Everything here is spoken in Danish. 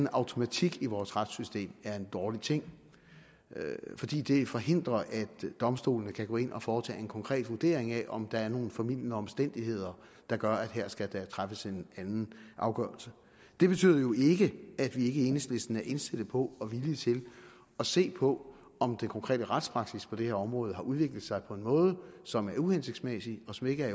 automatik i vores retssystem er en dårlig ting fordi det forhindrer at domstolene kan gå ind og foretage en konkret vurdering af om der er nogle formildende omstændigheder der gør at der skal træffes en anden afgørelse det betyder jo ikke at vi ikke i enhedslisten er indstillet på og villige til at se på om den konkrete retspraksis på det her område har udviklet sig på en måde som er uhensigtsmæssig og som ikke er